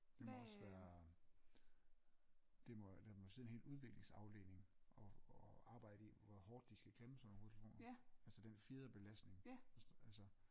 Det må også være det må der må sidde en hel udviklingsafdeling og og arbejde i hvor hårdt de skal klemme sådan nogle hovedtelefoner altså den fjederbelastning altså altså